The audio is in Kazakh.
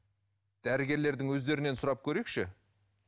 дәрігерлердің өздерінен сұрап көрейікші